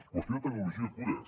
qüestió de tecnologia i cures